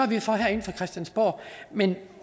vi for herinde fra christiansborg men